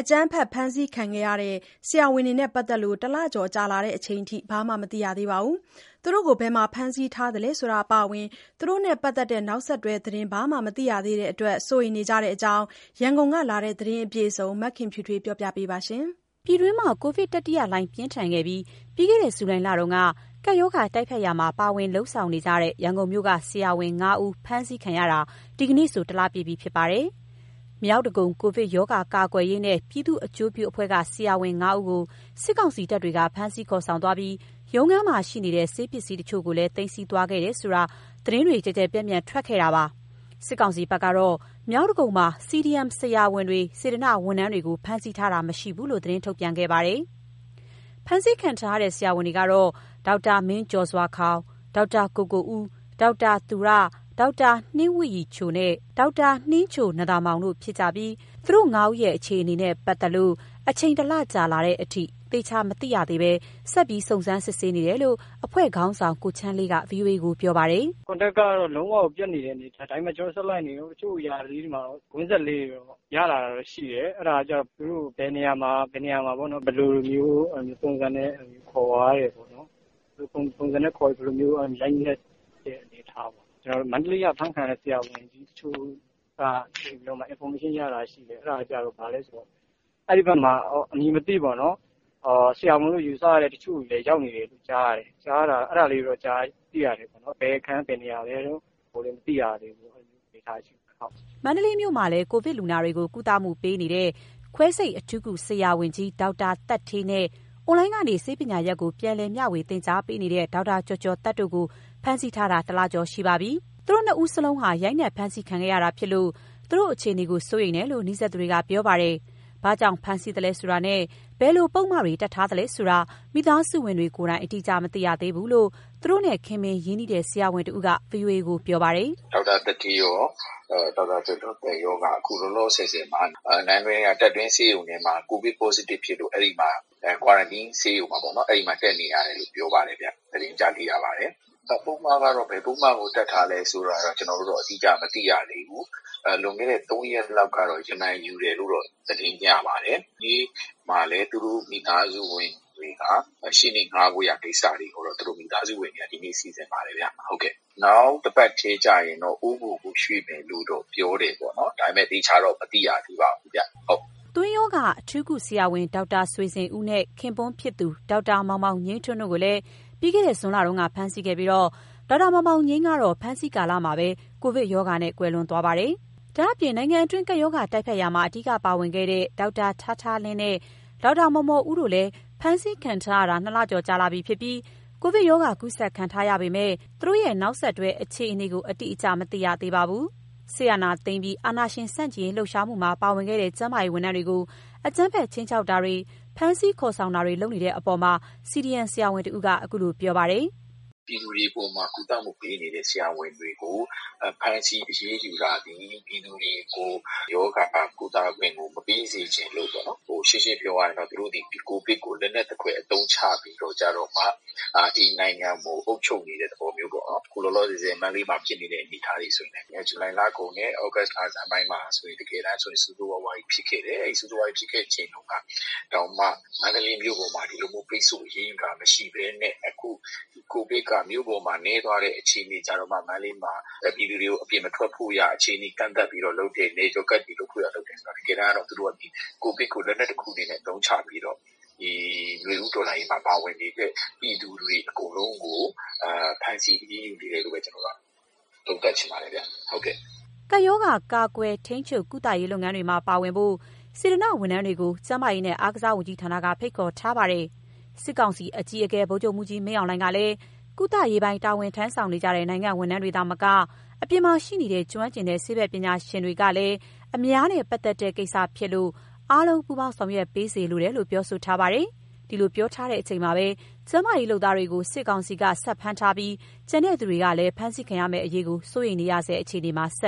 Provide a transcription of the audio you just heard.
အကြမ်းဖက်ဖမ်းဆီးခံခဲ့ရတဲ့ ဆရာဝန်တွေနဲ့ပတ်သက်လို့ တလကျော်ကြာလာချိန်အထိ ဘာမှမသိရသေးပါဘူး။ သူတို့ကိုဘယ်မှာ ဖမ်းဆီးထားသလဲဆိုတာအပါအဝင် သူတို့နဲ့ပတ်သက်တဲ့ နောက်ဆက်တွဲသတင်း ဘာမှမသိရသေးတဲ့အတွက် စိုးရိမ်နေကြတဲ့အကြောင်း ရန်ကုန်ကလာတဲ့ သတင်းအပြည့်အစုံကို မခင်ဖြူထွေးက ပြောပြပါမယ်။ ပြည်တွင်းမှာ ကိုဗစ်တတိယလှိုင်း ပြင်းထန်ခဲ့တဲ့ ပြီးခဲ့တဲ့ ဇူလိုင်လတုန်းက ကပ်ရောဂါတိုက်ဖျက်ရာမှာ ပါဝင်လုပ်ဆောင်နေတဲ့ ရန်ကုန်မြို့က ဆရာဝန် ၅ဦး ဖမ်းဆီးခံရတာ ဒီကနေ့ဆို ၁ လပြည့်ပြီ ဖြစ်ပါတယ်။ မြောက်ဒဂုံ ကိုဗစ်ရောဂါကာကွယ်ရေးနဲ့ ပြည်သူ့အကျိုးပြုအဖွဲ့က ဆရာဝန် ၅ ဦးကို စစ်ကောင်စီတပ်တွေက ဖမ်းဆီးခေါ်ဆောင်သွားပြီး ရုံးခန်းမှာရှိနေတဲ့ ဆေးပစ္စည်းတချို့ကိုလည်း သိမ်းဆည်းသွားခဲ့တယ်ဆိုတာ သတင်းတွေ ကျယ်ကျယ်ပျံ့ပျံ့ကို ထွက်ခဲ့တာပါ။ စစ်ကောင်စီဘက်ကတော့ မြောက်ဒဂုံမှာ CDM ဆရာဝန်၊ စေတနာ့ဝန်ထမ်းတွေကို ဖမ်းဆီးထားခြင်းမရှိဘူးလို့ သတင်းထုတ်ပြန်ခဲ့ပါတယ်။ ဖမ်းဆီးခံထားရတဲ့ ဆရာဝန်တွေကတော့ ဒေါက်တာမင်းကျော်စွာခေါင်၊ ဒေါက်တာကိုကိုဦး၊ ဒေါက်တာ သူရ၊ ဒေါက်တာနှင်းဝတ်ရည်ချိုနဲ့ ဒေါက်တာနှင်းချိုနံ့သာမောင်တို့ ဖြစ်ကြပြီး သူတို့ ၅ ဦးရဲ့ အခြေအနေနဲ့ပတ်သက်လို့ အချိန် ၁ လကြာလာချိန်အထိ သေချာမသိရသေးဘဲ ဆက်ပြီးစုံစမ်းနေတယ်လို့ အဖွဲ့ခေါင်းဆောင် ကိုချမ်းလေးက ဗွီအိုအေကို ပြောပါတယ်။ "Contact ကတော့ လုံးဝကိုပြတ်နေတဲ့ အနေအထား။ ဒါပေမယ့် ကျနော်တို့ဆက်လိုက်နေတုန်း။ တချို့အရာလေးတွေမှာတော့ ကွင်းဆက်လေးတွေတော့ ရလာတာတော့ရှိတယ်။ အဲဒါကကျတော့ သူတို့ကို ဘယ်နေရာမှာ ဘယ်လိုမျိုးပုံစံနဲ့ ခေါ်သွားပြီးတော့ ရိုက်နှက်တဲ့အနေအထားပေါ့။ ကျနော်တို့ မန္တလေးက အဖမ်းခံရတဲ့ဆရာဝန်တချို့က Information ရတာရှိတယ်။ အဲဒါက ဘာလဲဆိုတော့ အဲဒီဘက်မှာ အမည်မသိပေါ့နော် ဆရာဝန်လို့ယူဆရတဲ့ တချို့တွေလည်းရောက်နေတယ် ကြားရတယ်။ အဲဒါလေးတွေတော့ သိရတယ်ခင်ဗျ။ ဘယ်အခန်း၊ ဘယ်နေရာလဲတော့ မသိရသေးဘူးပေါ့။ အဲဒီအနေအထားမှာ ရှိနေတယ်။" မန္တလေးမြို့မှာလည်း ကိုဗစ်လူနာတွေကို ကုသမှုပေးနေတဲ့ ခွဲစိတ်အထူးကုဆရာဝန်ကြီး ဒေါက်တာသက်ဌေးနဲ့ အွန်လိုင်းကနေ ဆေးပညာရပ်ကို ပြန်လည်မျှဝေ သင်ကြားပေးနေတဲ့ ဒေါက်တာကျော်ကျော်သက်တို့ကို ဖမ်းဆီးထားတာ ၁ လကျော်ရှိပါပြီ။ သူတို့ နှစ်ဦးစလုံးဟာ ရိုက်နှက် ဖမ်းဆီးခံခဲ့ရတာဖြစ်လို့ သူတို့အခြေအနေကို စိုးရိမ်နေတယ်လို့ နီးစပ်သူတွေက ပြောပါတယ်။ ဘာကြောင့်ဖမ်းဆီးသလဲဆိုတာနဲ့ ဘယ်လိုပုဒ်မတွေ တပ်ထားလဲဆိုတာ မိသားစုဝင်တွေကိုယ်တိုင် အတိအကျမသိရသေးဘူးလို့ သူတို့နဲ့ ခင်မင်ရင်းနှီးတဲ့ ဆရာဝန်တဦးက ဗွီအိုအေကိုပြောပါတယ်။ "ဒေါက်တာသက်ဌေးရော၊ ဒေါက်တာကျော်ကျော်သက်ရောက အခုလောလောဆယ်မှာ နန်းတွင်းက တပ်တွင်းဆေးရုံထဲမှာ ကိုဗစ် Positive ဖြစ်လို့ အဲဒီက Quarantine ဆေးရုံမှာတက်နေရတယ်လို့ သတင်းကြားသိရပါတယ်။ ပုဒ်မကတော့ ဘယ်ပုဒ်မကို တပ်ထားလဲဆိုတာတော့ ကျနော်တို့တော့ အတိအကျမသိရသေးဘူး။ လွန်ခဲ့တဲ့ ၃ ရက်လောက်ကတော့ ရမန်ယူတယ်လို့တော့ သတင်းရပါတယ်။ ဒီနေ့မှာလည်း သူတို့မိသားစုဝင်တွေက ရှေ့နေငှားဖို့ကိစ္စတွေကိုတော့ စီစဉ်နေပါတယ်ဗျ။ နောက်တပတ်ထဲကျရင်တော့ အိုးဘိုကိုရွှေ့မယ်လို့တော့ ပြောတယ်ပေါ့နော်။ ဒါပေမယ့် သေချာတော့မသိရသေးပါဘူးဗျ။" သွေးရောဂါ အထူးကုဆရာဝန် ဒေါက်တာဆွေဇင်ဦးနဲ့ ခင်ပွန်းဖြစ်သူ ဒေါက်တာမောင်မောင်ငြိမ်းထွန်းတို့ကိုလည်း ပြီးခဲ့တဲ့ ဇွန်လတုန်းက ဖမ်းဆီးခဲ့ပြီးတော့ ဒေါက်တာမောင်မောင်ငြိမ်းကတော့ ဖမ်းဆီးခံကာလမှာပဲ ကိုဗစ်ရောဂါနဲ့ ကွယ်လွန်ခဲ့တာပါ။ ဒါ့အပြင် နိုင်ငံတွင်း ကပ်ရောဂါတိုက်ဖျက်ရာမှာ အဓိကပါဝင်ခဲ့တဲ့ ဒေါက်တာထားထားလင်းနဲ့ ဒေါက်တာမော်မော်ဦးတို့လည်း ဖမ်းဆီးခံထားရတာ ၂ လကျော်ကြာလာပြီဖြစ်ပြီး ကိုဗစ်ရောဂါကူးစက်ခံထားရပေမယ့် သူတို့ရဲ့ နောက်ဆက်တွဲအခြေအနေကို အတိအကျမသိရသေးပါဘူး။ စစ်အာဏာသိမ်းပြီးနောက် အာဏာရှင်ဆန့်ကျင်ရေး လှုပ်ရှားမှုမှာပါဝင်ခဲ့တဲ့ ကျန်းမာရေးဝန်ထမ်းတွေကို အကြမ်းဖက်ခြိမ်းခြောက်တာတွေ၊ ဖမ်းဆီးခေါ်ဆောင်တာတွေ လုပ်နေတဲ့အပေါ် CDM ဆရာဝန်တဦးက - "ပြည်သူတွေအပေါ်မှာ ကုသမှုပေးနေတဲ့ ဆရာဝန်တွေကို ဖမ်းဆီးအရေးယူတာသည် ပြည်သူတွေကို ရောဂါကုသခွင့်ကို မပေးစေချင်လို့ပေါ့နော်။ ရှင်းရှင်းပြောရရင်တော့ သူတို့သည် ဒီကိုဗစ်ကို လက်နက်သဖွယ်အသုံးချပြီးတော့ ဒီနိုင်ငံကိုအုပ်ချုပ်နေတဲ့ သဘောမျိုးပေါ့။ အခုလောလောဆယ် မန္တလေးမှာဖြစ်နေတဲ့ အနေအထားတွေဆိုရင်လည်း ဇူလိုင်လကုန်နဲ့ ဩဂုတ်လဆန်းပိုင်းမှာဆိုရင် ဆိုးဆိုးရွားရွားကြီး ဖြစ်ခဲ့တယ်။ အဲလိုဖြစ်ခဲ့ချိန်တုန်းကတောင်မှ မန္တလေးမြို့ပေါ်မှာ ဒီလိုမျို းပိတ်ဆို့ အရေးယူတာမရှိဘဲနဲ့ အခုကိုဗစ်က မြို့ပေါ်မှာနည်းသွားတဲ့အချိန်မှ မန္တလေးမှာ ပြည်သူတွေကို အပြင်မထွက်ဖို့ ကန့်သတ်တယ်ဆိုတော့ တကယ်တမ်းက ကိုဗစ်ကို လက်နက်တခုအနေနဲ့ အသုံးချပြီးတော့ ဒီနွေဦးတော်လှန်ရေးမှာ ပါဝင်နေတဲ့ ပြည်သူတွေအကုန်လုံးကို ဖမ်းဆီးအရေးယူနေတယ်လို့ပဲ သုံးသပ်ချင်ပါတယ်ခင်ဗျ။" ကိုဗစ်ရောဂါ ကာကွယ်၊ ထိန်းချုပ်၊ ကုသရေးလုပ်ငန်းတွေမှာပါဝင်ဖို့ စေတနာ့ဝန်ထမ်းတွေကို ကျန်းမာရေးနဲ့ အားကစားဝန်ကြီးဌာနကဖိတ်ခေါ်ထားပါတယ်။ စစ်ကောင်စီအကြီးအကဲ ဗိုလ်ချုပ်မှူးကြီးမင်းအောင်လှိုင်ကလည်း ကုသရေးပိုင်း တာဝန်ထမ်းဆောင်နေတဲ့ နိုင်ငံ့ဝန်ထမ်းတွေသာမက အပြင်မှာရှိနေတဲ့ ကျွမ်းကျင်တဲ့ ဆေးဘက်ပညာရှင်တွေကလည်း အများနဲ့ပတ်သက်တဲ့ကိစ္စဖြစ်လို့ အားလုံးပူးပေါင်း ဆောင်ရွက်ပေးစေလိုတယ်လို့ ပြောထားပါတယ်။ ဒီလိုပြောထားချိန်မှာပဲ ကျန်းမာရေးလုပ်သားတွေကို စစ်ကောင်စီက ဆက်ဖမ်းထားပြီး ကျန်သူတွေဟာလည်း အဖမ်းခံရမယ့်အရေး စိုးရိမ်နေရဆဲအခြေအနေမှာ ဆက်